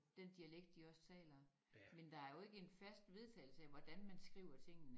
Den dialekt de også taler men der er jo ikke en fast vedtagelse af hvordan man skriver tingene